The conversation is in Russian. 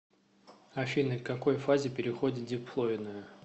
афина к какой фазе переходит диплоидная